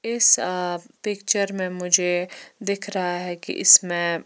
इस अ पिक्चर में मुझे दिख रहा है की इस में--